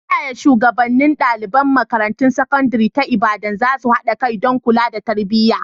Ta yaya shugabannin ɗalibai a makarantar sakandare ta Ibadan za su haɗa kai don kula da tarbiyya.